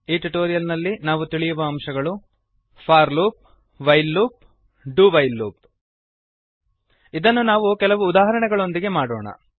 ಈ ಟ್ಯುಟೋರಿಯಲ್ ನಲ್ಲಿ ನಾವು ತಿಳಿಯುವ ಅಂಶಗಳು for loop while loop do while loop ಇದನ್ನು ನಾವು ಕೆಲವು ಉದಾಹರಣೆಗಳೊಂದಿಗೆ ಮಾಡೋಣ